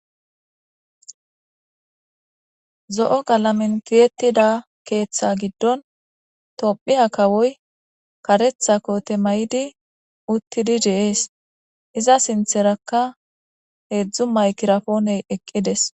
zo'o galamen tihettida keeththe giddon tophiya kawoy karetha kote maydi uttidi de'ees iza sintherakka heedzdzu maykirapooney eqqides